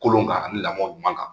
Kolo kan ani lamɔ ɲuman kan